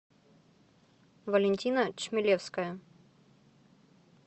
валентина чмелевская